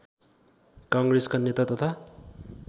काङ्ग्रेसका नेता तथा